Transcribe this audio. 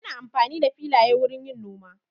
Ana amfani da filaye wurin yin noma.